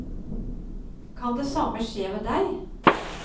Kan det samme skje med deg?